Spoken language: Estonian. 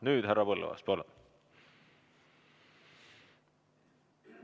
Nüüd, härra Põlluaas, palun!